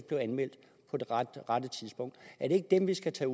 blevet anmeldt på det rette tidspunkt er det ikke dem vi skal tage